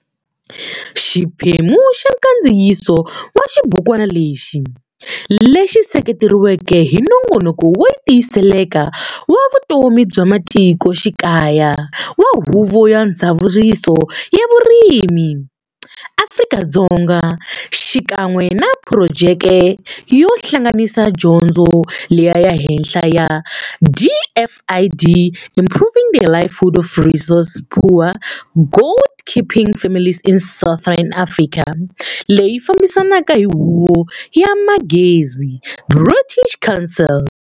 Xiphemu xa nkandziyiso wa xibukwana lexi, lexi sekeretiweke hi Nongonoko wo Tiyiseleka wa Vutomi bya Matiko Xikaya wa Huvo ya Ndzavuriso ya Vurimi, Afrika-Dzonga xikan'we na phurojeke yo Hlanganisa Dyondzo ya le Henhla ya DFID Improving the livelihood of resource-poor goat keeping families in southern Africa, leyi fambisaka hi Huvo ya Manghezi, British Council.